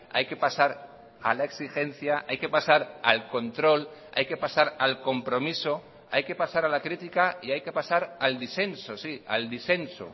hay que pasar a la exigencia hay que pasar al control hay que pasar al compromiso hay que pasar a la crítica y hay que pasar al disenso sí al disenso